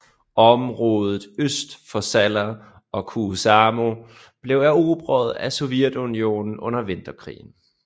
Området øst for Salla og Kuusamo blev erobret af Sovjetunionen under Vinterkrigen